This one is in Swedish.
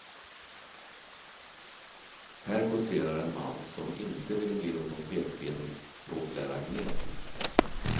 Här kåserar en man som inte ville bli någon pekpinnig språklärargnet.